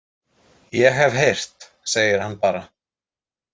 Ég hef heyrt, segir hann bara.